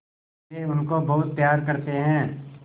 वे उनको बहुत प्यार करते हैं